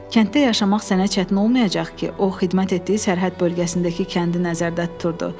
Kənddə yaşamaq sənə çətin olmayacaq ki, o xidmət etdiyi sərhəd bölgəsindəki kəndi nəzərdə tuturdu.